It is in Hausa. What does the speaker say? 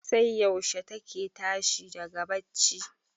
sai yaushe take tashi daga bacci?